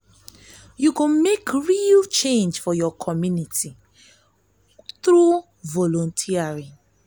yu go mek real change for yur community thru volunteering.